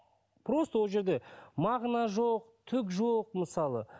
просто ол жерде мағына жоқ түк жоқ мысалы